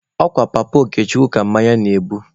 Ọ kwa Papa Okechukwu ka mmanya na-ebu.